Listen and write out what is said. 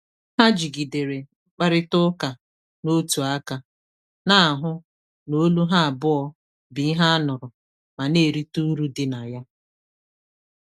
“Ha jigidere mkparịta ụka n’otu aka, n'ahụ na olu ha abụọ bu ihe anuru ma na-erite uru di na ya.